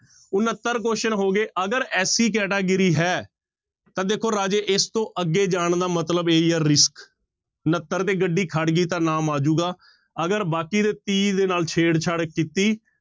ਉਣੱਤਰ question ਹੋ ਗਏ ਅਗਰ SC category ਹੈ ਤਾਂ ਦੇਖੋ ਰਾਜੇ ਇਸ ਤੋਂ ਅੱਗੇ ਜਾਣ ਦਾ ਮਤਲਬ ਇਹ ਹੀ ਹੈ risk ਉਣੱਤਰ ਤੇ ਗੱਡੀ ਖੜ ਗਈ ਤਾਂ ਨਾਮ ਆ ਜਾਊਗਾ ਅਗਰ ਬਾਕੀ ਦੇ ਤੀਹ ਦੇ ਨਾਲ ਛੇੜਛਾੜ ਕੀਤੀ,